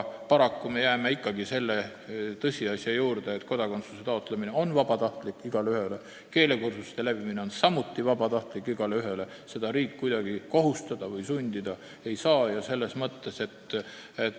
Aga jääme ikkagi selle tõsiasja juurde, et kodakondsuse taotlemine on igaühele vabatahtlik, nagu ka keelekursuste läbimine on igaühele vabatahtlik – riik siin kuidagi kohustada või sundida ei saa.